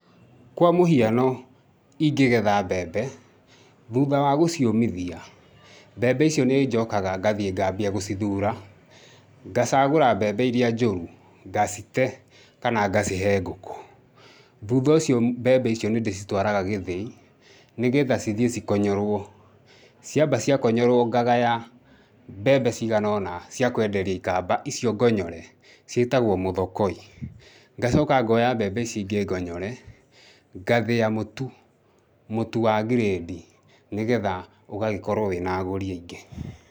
Kwa mũhiano ingĩgetha mbembe, thutha wa gũciũmithia mbembe icio nĩ njokaga gathiĩ ngaambia gũcithura, ngacagũra mbembe iria njũru ngacite kana ngacihe ngũkũ. Thutha ũcio mbembe icio nĩ ndĩcitwaraga gĩthĩi, nĩgetha cithiĩ cikonyorwo. Ciamba ciakonyorwo ngagaya mbembe cigana ũna ciakwenderia ikamba, icio ngonyore ciĩtagwo mũthokoi. Ngacoka ngooya mbembe ici ingĩ ngonyore, ngathĩa mũtu, mũtu wa grade, nĩgetha ũgagĩkorwo wĩna agũri aingĩ.